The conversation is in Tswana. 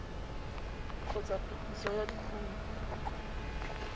kgotsa phetiso ya dikumo tsa